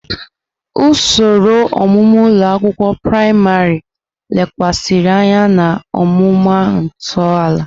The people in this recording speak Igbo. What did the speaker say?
Usoro ọmụmụ ụlọ akwụkwọ praịmarị lekwasịrị anya na ọmụma ntọala.